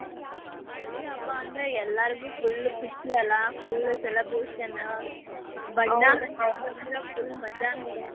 ಹೋಳಿ ಹಬ್ಬಾ ಅಂದ್ರ ಎಲ್ಲಾರ್ಗು full ಖುಷಿ ಅಲಾ, full celebration , ಬಣ್ಣ full ಮಜಾ ನೋಡ್.